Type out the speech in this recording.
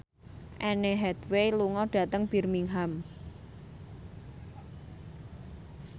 Anne Hathaway lunga dhateng Birmingham